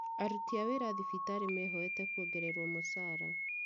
Aruti a wĩra thibitarĩ mehoete kuongererwo mũcara